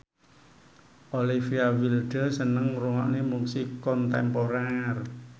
Olivia Wilde seneng ngrungokne musik kontemporer